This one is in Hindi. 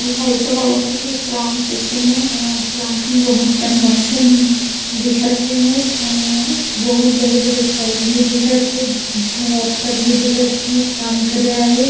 एहा अइसे लागत हे कि प्लांट के सीन ए अ प्लांट में बहुत कन मशीन दिखत हे एमेर अ बहुत बड़े-बड़े पाइप भी दिखत हे जेमे वर्कर भी दिखत हे एमेर काम करे आए हे।